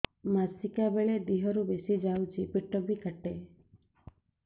ମାସିକା ବେଳେ ଦିହରୁ ବେଶି ଯାଉଛି ପେଟ ବି କାଟେ